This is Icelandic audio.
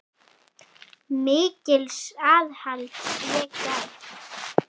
Mikils aðhalds sé gætt.